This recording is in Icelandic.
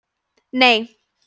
nei